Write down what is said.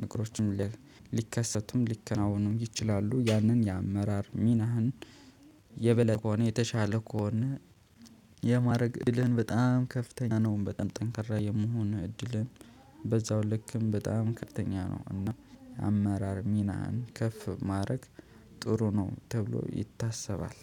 ነገሮችም ሊከሰቱም ሊከናወኑም ይችላሉ። ያንን የአመራር ሚናህን የበለጠ ከሆነ የተሻለ ከሆነ። የማድረግ እድልህን በጣም ከፍተኛ ነው። በጣም ጠንክራ የምሆን እድልህን በዛው ልክም በጣም ከተኛ ነው። እና አመራር ሚናን ከፍ ማድረግ ጥሩ ነው ተብሎ ይታሰባል።